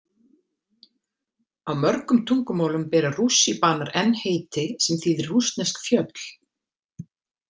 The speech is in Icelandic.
Á mörgum tungumálum bera rússíbanar enn heiti sem þýðir rússnesk fjöll.